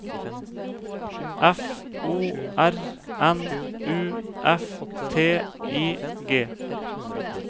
F O R N U F T I G